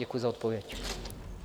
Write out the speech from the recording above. Děkuji za odpověď.